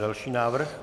Další návrh.